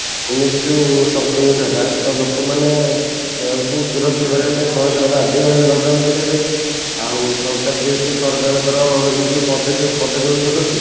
ଏମିତି ଯୋଉ ସଂକ୍ରମିତ ହେଲା ତ ଲୋକ ମାନେ ଙ୍କୁ ସୁରକ୍ଷା କରେଇବା ପାଇଁ ସରକାର ବାଧ୍ୟ ହେଲେ lock down କରେଇବା ପାଇଁ ଆଉ ସରକାର ଯେହେତୁ ସରକାରଙ୍କର ଏଇ ଯୋଉ ପଦକ୍ଷେପ ପଦକ୍ଷେପ ଯୋଗୁଁ